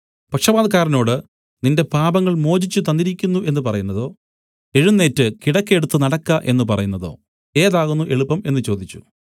പക്ഷവാതക്കാരനോട് നിന്റെ പാപങ്ങൾ മോചിച്ചു തന്നിരിക്കുന്നു എന്നു പറയുന്നതോ എഴുന്നേറ്റ് കിടക്ക എടുത്തു നടക്ക എന്നു പറയുന്നതോ ഏതാകുന്നു എളുപ്പം എന്നു ചോദിച്ചു